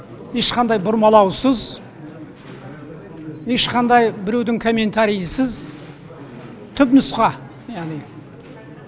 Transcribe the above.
ешқандай бұрмалаусыз ешқандай біреудің комментарийсіз түпнұсқа яғни